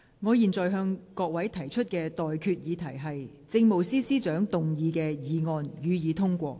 我現在向各位提出的待決議題是：政務司司長動議的議案，予以通過。